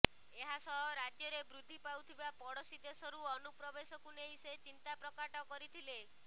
ଏହାସହ ରାଜ୍ୟରେ ବୃଦ୍ଧି ପାଉଥିବା ପଡୋଶୀ ଦେଶରୁ ଅନୁପ୍ରବେଶକୁ ନେଇ ସେ ଚିନ୍ତା ପ୍ରକାଟ କରିଥିଲେ